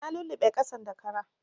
Na luluɓe ƙasan da kara